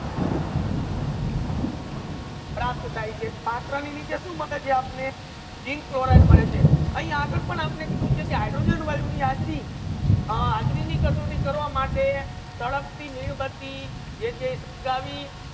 પ્રાપ્ટ થાય છે પાત્ર નિમિતે શુ મલે છે આપને zinc chloride મલે છે અહીન્યા આગલ પણ આપને કીધુ છે કે હૈડ્રોજેન વાયુ ની હાજરી હાજરી ની કસૌટી કરવા માટે સળગતી મીણબત્તી જે છે સળગાવી